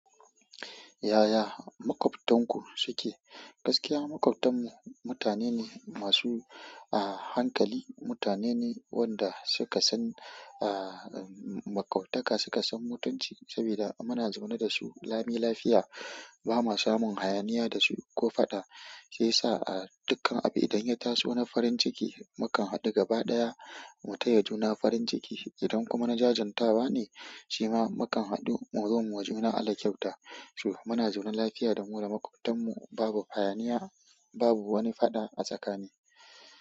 Yaya maƙwabtan ku suke? Gaskiya maƙwabtan mu mutane ne masu, ah, hankali. Mutane ne wanda suka san, ah, maƙwabtaka suka san mutunci sabida muna zaune da su lami lafiya. Ba ma samun hayaniya da su ko faɗa, sai sa, ah, dukkan abu idan ya taso na farin ciki mukan haɗu gaba ɗaya mu tayi juna farin ciki. Idan kuma na jajantawa ne shima mukam haɗu muzo muyiwa juna Allah kyauta shu, muna zaune lafiya da mu da maƙwabtan mu, babu hayaniya, babu wani faɗa a tsakani.